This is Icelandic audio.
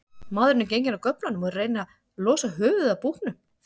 Maðurinn er genginn af göflunum og er að reyna losa höfuðið af búknum.